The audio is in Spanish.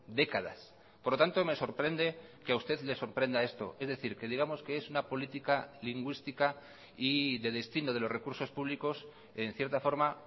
décadas por lo tanto me sorprende que a usted le sorprenda esto es decir que digamos que es una política lingüística y de destino de los recursos públicos en cierta forma